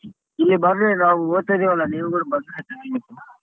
ಇಲ್ಲಿ ಬರ್ರಿ ನಾವ್ ಹೋಗ್ತೀವಲ್ಲ ನೀವ್ ಗಳು ಬಂದ್ರೆ ಚನಾಗಿರುತ್ತೆ.